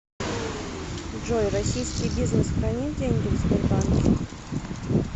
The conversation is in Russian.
джой российский бизнес хранит деньги в сбербанке